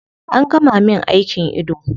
An gama min aikin ido